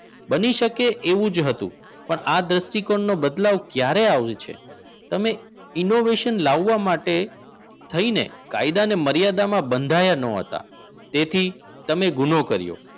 બની શકે એવું જ હતું પણ આ દ્રષ્ટિકોણનો બદલાવ ક્યારે આવે છે તમે innovation લાવવા માટે થઈને ફાયદા અને મર્યાદામાં બંધાયેલ ન હતા તેથી તમે ગુનો કર્યો